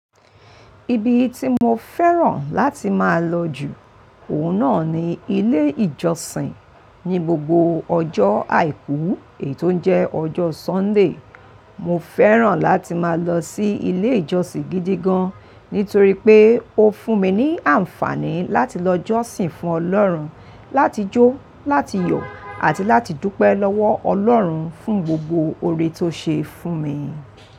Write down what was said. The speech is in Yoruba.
Ibi tí mo fẹ́ràn láti máa lọ jù, òun náà ni ilé ìjọsìn. Ni gbogbo ọjọ́ àìkú, ètò ń jẹ́ ọjọ́ Sunday, mo fẹ́ràn láti máa lọ sí ilé ìjọsìn gidi gan, nítorí pé ó fún mi ní àǹfààní láti lọ jọ́sìn fún Ọlọ́run, láti jó, láti yọ̀ àti láti dúpẹ́ lọ́wọ́ Ọlọ́run fún gbogbo oore tó ṣe fún mi.